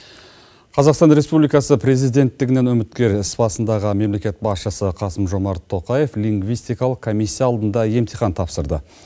қазақстан республикасы президенттігінен үміткер іс басындағы мемлекет басшысы қасым жомарт тоқаев лингвистикалық комиссия алдында емтихан тапсырды